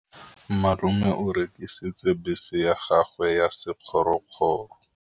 Malome o rekisitse bese ya gagwe ya sekgorokgoro.